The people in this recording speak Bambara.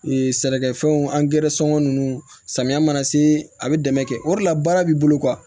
sɛnɛkɛfɛnw angɛrɛ sɔngɔ ninnu samiya mana se a bɛ dɛmɛ kɛ o de la baara b'i bolo